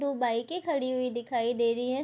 दो बाइकें खड़ी हुई दिखाई दे रही हैं।